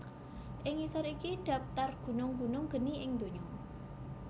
Ing ngisor iki dhaptar gunung gunung geni ing donya